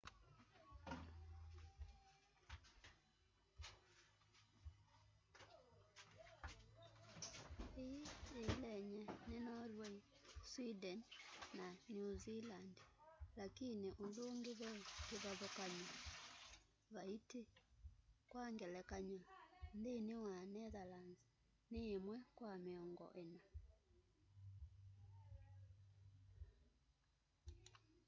ii yiielenye ni norway sweden na new zealand lakini undungi ve kivathukanyo vaiti kwa ngelakanyo nthini wa netherlands ni imwe kwa miongo ina